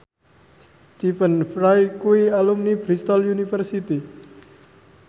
Stephen Fry kuwi alumni Bristol university